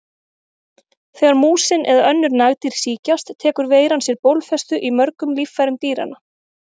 Þegar músin eða önnur nagdýr sýkjast tekur veiran sér bólfestu í mörgum líffærum dýranna.